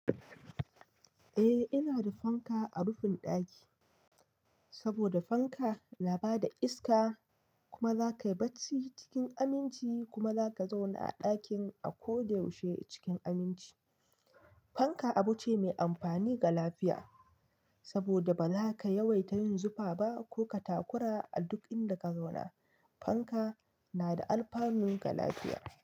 Eh, ina da fanka a rufin ɗaki, saboda fanka na bada iska kuma za ka yi barci cikin aminci kuma za ka zauna a ɗakin a ko da yaushe cikin aminci. Fanka abu ce mai amfani ga lafiya, saboda ba za ka yawaita yin zufa ba ko ka takura a duk inda ka zauna. Fanka na da alfanu ga lafiya.